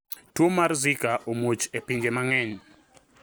Tuo mar zika omuoch e pinje mang`eny.